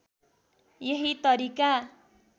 यही तरिका